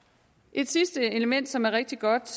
et sidste element som er rigtig godt